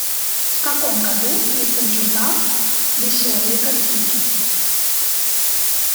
в каком году издан журнал веселые картинки